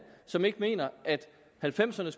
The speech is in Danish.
som ikke mener at halvfemserne